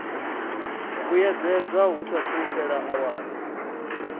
vhuyedzedzwa hu saathu fhela awara